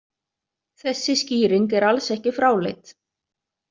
Þessi skýring er alls ekki fráleit.